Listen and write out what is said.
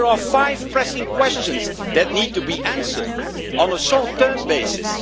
But there are five pressing questions that need to be answered on a short-term basis.